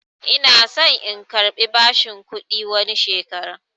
Ina son in karbi bashin kuɗi wani shekaran